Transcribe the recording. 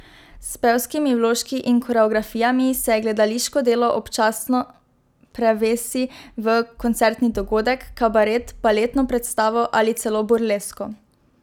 S pevskimi vložki in koreografijami se gledališko delo občasno prevesi v koncertni dogodek, kabaret, baletno predstavo ali celo burlesko.